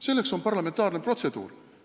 Selleks on parlamentaarne protseduur.